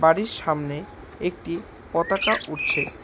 বাড়ির সামনে একটি পতাকা উড়ছে।